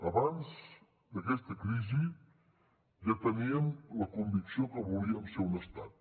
abans d’aquesta crisi ja teníem la convicció que volíem ser un estat